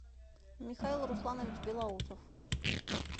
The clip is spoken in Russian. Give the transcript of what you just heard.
михаил русланович белоусов